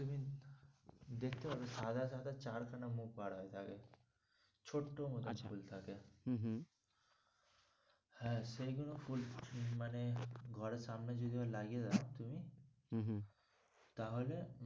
দেখতে পাবেন সাদা সাদা চার খানা মুখ বার হয়ে থাকে ছোট্ট মতো আচ্ছা ফুল থাকে হম হ্যাঁ সেইগুলো ফুল মানে ঘরের সামনে যদি লাগিয়ে দাও তুমি হম হম তাহলে,